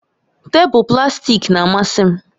Tebụl plastik na-amasị m